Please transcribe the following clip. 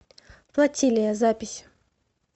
флотилия запись